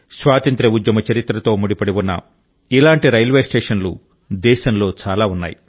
స్వాతంత్ర్య ఉద్యమ చరిత్రతో ముడిపడి ఉన్న ఇలాంటి రైల్వే స్టేషన్లు దేశంలో చాలా ఉన్నాయి